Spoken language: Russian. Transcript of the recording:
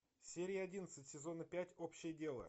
серия одиннадцать сезона пять общее дело